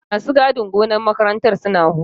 Masu gadin gonar makarantar suna hutu.